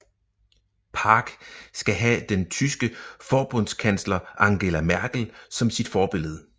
Park skal have den tyske forbundskansler Angela Merkel som sit forbillede